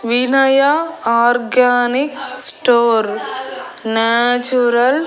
Vinaya organic store natural --